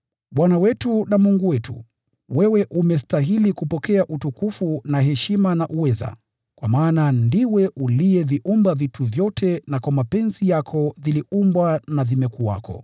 “Bwana wetu na Mungu wetu, wewe unastahili kupokea utukufu na heshima na uweza, kwa maana ndiwe uliyeviumba vitu vyote, na kwa mapenzi yako viliumbwa na vimekuwako.”